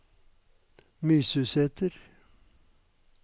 Mysusæter